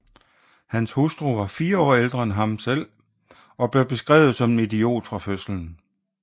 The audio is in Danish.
Hans hustru var fire år ældre end ham selv og blev beskrevet som en idiot fra fødslen